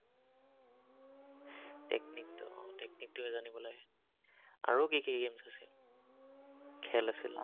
উম technique টোহে জানিব লাগে। আৰু, কি কি games আছে? খেল আছিল